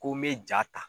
Ko n bɛ ja ta